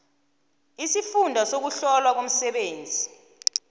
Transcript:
isifunda sokuhlolwa komsebenzi